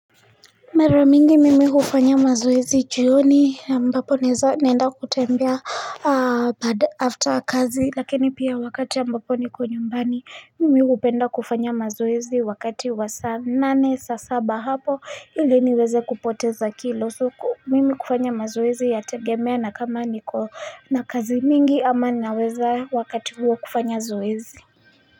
Maramingi mimi hufanya mazoezi jioni ambapo naeza naenda kutembea baad after kazi Lakini pia wakati ambapo niko nyumbani mimi hupenda kufanya mazoezi wakati wa saa nane saa saba hapo ili niweze kupoteza kilo so ko mimi kufanya mazoezi yategemea na kama niko na kazi mingi ama naweza wakati huo kufanya zoezi.